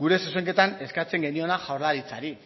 gure zuzenketan eskatzen geniona jaurlaritzari